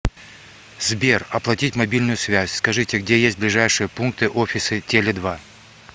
сбер оплатить мобильную связь скажите где есть ближайшие пункты офисы теле два